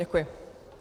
Děkuji.